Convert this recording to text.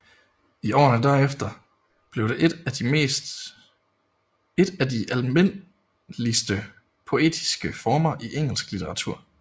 I årene derefter blev det en af de almindeligste poetiske former i engelsk litteratur